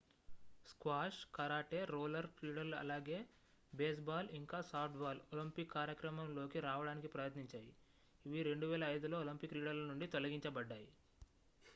squash karate roller క్రీడలు అలాగే baseball ఇంకా సాఫ్ట్ బాల్ ఒలింపిక్ కార్యక్రమం లోకి రావడానికి ప్రయత్నించాయి ఇవి 2005లో ఒలింపిక్ క్రీడల నుండి తొలగించబడ్డాయి